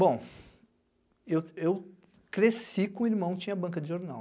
Bom, eu eu cresci com um irmão que tinha banca de jornal.